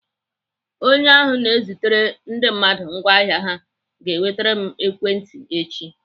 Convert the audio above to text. Onye ahụ na-ezitere ndị mmadụ ngwaahịa ha ga-ewetere m ekwentị echi.